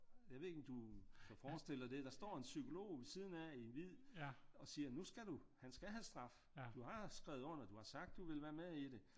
Jeg ved ikke om du kan forestille dig det der står en psykolog ved siden af i hvid og siger nu skal du han skal have straf du har skrevet under du har sagt du vil være med i det